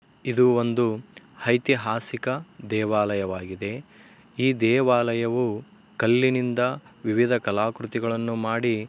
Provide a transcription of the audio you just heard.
ಇದು ಒಂದು ಐತಿಹಾಸಿಕ ದೇವಾಲಯವಾಗಿದೆ । ಈ ದೇವಾಲಯವು ಕಳ್ಳಿ ನಿಂದ ವಿವಿಧ ಕಲಾಕೃತಿಗಳನ್ನು ಮಾಡಿ ।